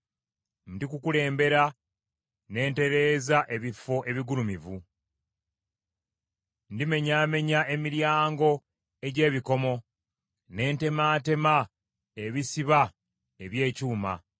Ndikukulembera ne ntereeza ebifo ebigulumivu. Ndimenyaamenya emiryango egy’ebikomo ne ntemaatema ebisiba eby’ekyuma.